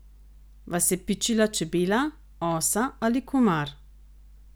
Vas je pičila čebela, osa ali komar?